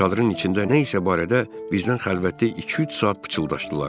Çadırın içində nə isə barədə bizdən xəlvətdə iki-üç saat pıçıldaşdılar.